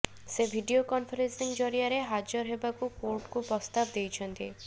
ସେ video conferencing ଜରିଆରେ ହାଜର ହେବାକୁ କୋର୍ଟ୍କୁ ପ୍ରସ୍ତାବ ଦେଇଛନ୍ତି